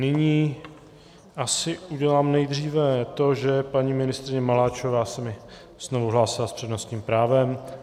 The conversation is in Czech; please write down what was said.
Nyní asi udělám nejdříve to, že paní ministryně Maláčové se mi znovu hlásila s přednostním právem.